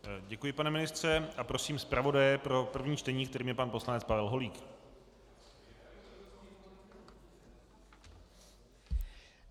Děkuji, pane ministře, a prosím zpravodaje pro první čtení, kterým je pan poslanec Pavel Holík.